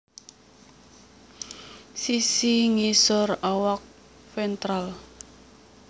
Sisi ngisor awak ventral